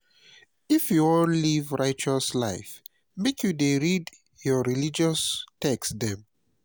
if you wan live righteous life make you dey read your religious text dem.